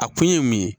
A kun ye mun ye